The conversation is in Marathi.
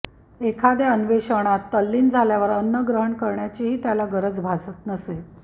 एखाद्या अन्वेषणात तल्लीन झाल्यावर अन्न ग्रहण करण्याचीही त्याला गरज भासत नसे